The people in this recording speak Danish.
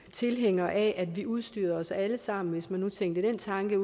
tilhængere af at vi udstyrede os alle sammen hvis man nu tænkte den tanke